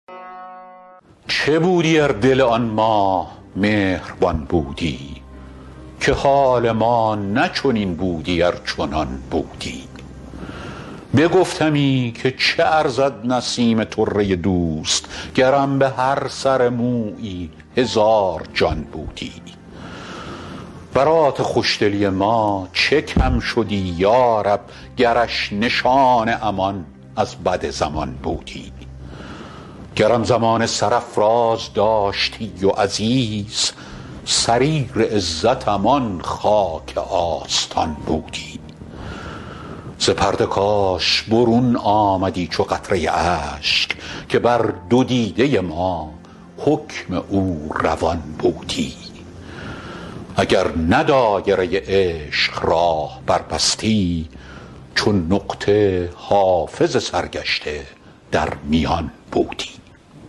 چه بودی ار دل آن ماه مهربان بودی که حال ما نه چنین بودی ار چنان بودی بگفتمی که چه ارزد نسیم طره دوست گرم به هر سر مویی هزار جان بودی برات خوش دلی ما چه کم شدی یا رب گرش نشان امان از بد زمان بودی گرم زمانه سرافراز داشتی و عزیز سریر عزتم آن خاک آستان بودی ز پرده کاش برون آمدی چو قطره اشک که بر دو دیده ما حکم او روان بودی اگر نه دایره عشق راه بربستی چو نقطه حافظ سرگشته در میان بودی